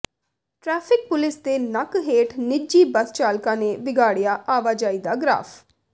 traffic police ਦੇ ਨੱਕ ਹੇਠ ਨਿੱਜੀ ਬੱਸ ਚਾਲਕਾਂ ਨੇ ਵਿਗਾੜਿਆ ਆਵਾਜਾਈ ਦਾ ਗ੍ਰਾਫ਼